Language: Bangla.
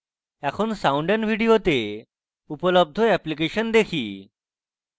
এখন sound & video তে উপলব্ধ অ্যাপ্লিকেশন দেখি